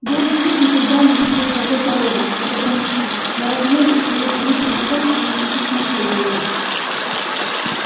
белый клык никогда не видел такой породы это был мастиф но размеры и свирепый вид незнакомца ничуть не смутили его